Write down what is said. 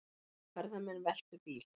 Ferðamenn veltu bíl